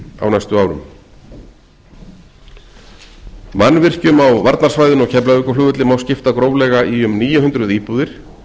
á næstu árum mannvirkjum á varnarsvæðinu á keflavíkurflugvelli má skipta gróflega í um níu hundruð íbúðir